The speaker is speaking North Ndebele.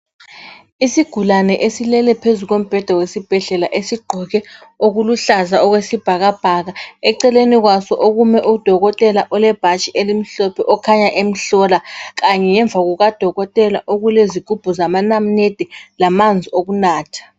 Isigulane esilele phezu kombheda wesibhedlela esigqoke okuluhlaza okwesibhakabhaka eceleni kwaso okumele udokotela olebhatshi elimhlophe okhanya emhlola ngemva kwakhe kulezigubhu zamanamunede lamanzi okunatha